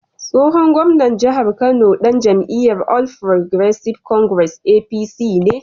Tsohon gwamnan jihar Kano dan jam’iyyar All Progressives Congress (APC) ne.